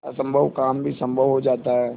असम्भव काम भी संभव हो जाता है